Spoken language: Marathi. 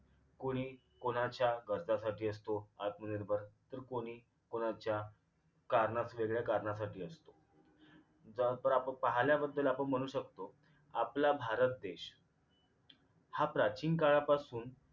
कोणी कोणाच्या गरजांसाठी असतो आत्मनिर्भर तर कोणी कोणाच्या कारणा वेगळ्या कारणासाठी असतो ज्यानंतर आपण पाहायला बद्दल आपण म्हणू शकतो आपला भारत देश हा प्राचीन काळापासून